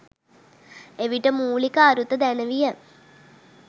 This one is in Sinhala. එවිට මූලික අරුත දැනවිය